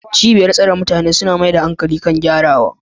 Cibiyoyin tsare mutane suna mayar da hankali kan gyarawa